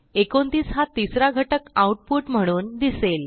29 हा तिसरा घटक आऊटपुट म्हणून दिसेल